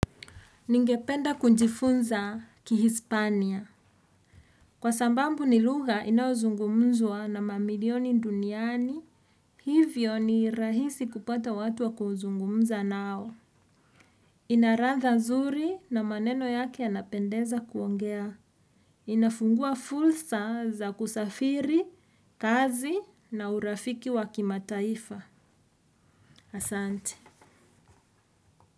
Ningependa kujifunza kihispania. Kwa sababu ni lugha inayozungumzwa na mamilioni duniani. Hivyo ni rahisi kupata watu wa kuzungumza nao. Inaradha mzuri na maneno yake yanapendeza kuongea. Inafungua fursa za kusafiri, kazi na urafiki wa kimataifa. Asante.